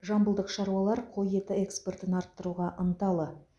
жамбылдық шаруалар қой еті экспортын арттыруға ынталы